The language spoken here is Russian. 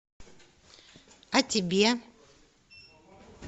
а тебе